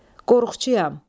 Qorxçuyam.